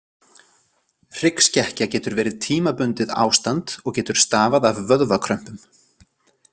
Hryggskekkja getur verið tímabundið ástand og getur stafað af vöðvakrömpum.